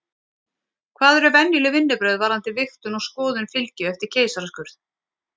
Hvað eru venjuleg vinnubrögð varðandi vigtun og skoðun fylgju eftir keisaraskurð?